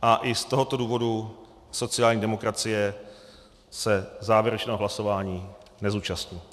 A i z tohoto důvodu sociální demokracie se závěrečného hlasování nezúčastní.